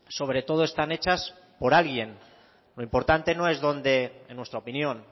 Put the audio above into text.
sobre todo están hechas por alguien lo importante no es dónde en nuestra opinión